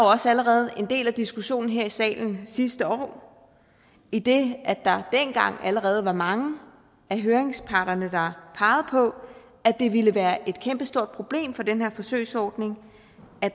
også allerede en del af diskussionen her i salen sidste år idet der dengang allerede var mange af høringsparterne der pegede på at det ville være et kæmpestort problem for den her forsøgsordning at